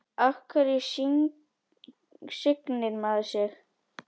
Af hverju signir maður sig?